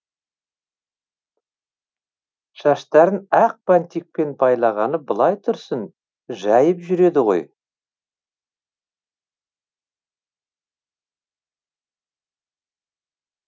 шаштарын ақ бантикпен байлағаны былай тұрсын жайып жүреді ғой